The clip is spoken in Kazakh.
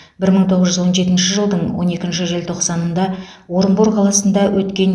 бір мың тоғыз жүз он жетінші жылдың он екінші желтоқсанында орынбор қаласында өткен